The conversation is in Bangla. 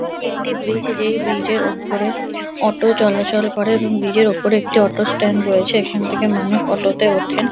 এটি একটি ব্রীজ যেই ব্রীজ - এর ওপরে অটো চলাচল করে এবং ব্রীজ - এর ওপরে একটি অটো স্ট্যান্ড রয়েছে। এখান থেকে মানুষ অটো - তে ওঠেন ।